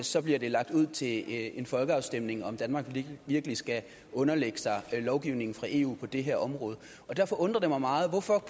så bliver det lagt ud til en folkeafstemning altså om danmark virkelig skal underlægge sig lovgivningen fra eu på det her område derfor undrer det mig meget hvorfor